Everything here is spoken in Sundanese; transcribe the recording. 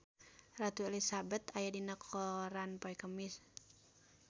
Ratu Elizabeth aya dina koran poe Kemis